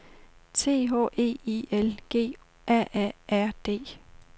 T H E I L G A A R D